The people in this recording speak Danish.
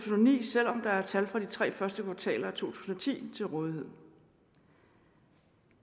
ni selv om der er tal fra de tre første kvartaler af to tusind og ti til rådighed